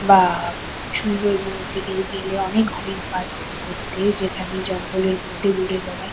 বাব সুন্দরবনের দিকে গেলে অনেক হরিণ পায় দেখতে যেখানে জঙ্গলের মধ্যে ঘুরে বেড়ায়।